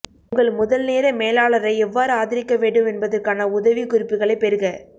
உங்கள் முதல் நேர மேலாளரை எவ்வாறு ஆதரிக்க வேண்டும் என்பதற்கான உதவிக்குறிப்புகளைப் பெறுக